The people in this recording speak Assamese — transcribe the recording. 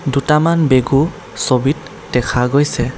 দুটামান বেগো ছবিত দেখা গৈছে।